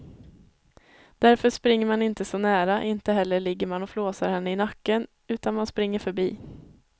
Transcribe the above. Därför springer man inte så nära, inte heller ligger man och flåsar henne i nacken utan man springer förbi.